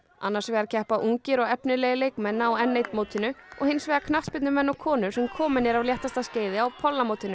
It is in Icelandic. annars vegar keppa ungir og efnilegir leikmenn á n einu mótinu og hins vegar knattspyrnumenn og konur sem komin eru af léttasta skeiði á